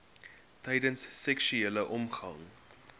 tydens seksuele omgang